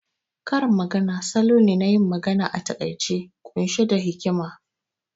Karin magana salo ne nayin magana a taƙaice ƙunshe da hikima